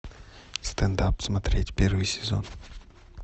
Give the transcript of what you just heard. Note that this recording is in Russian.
стендап смотреть первый сезон